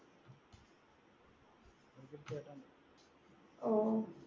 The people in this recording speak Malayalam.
ഓ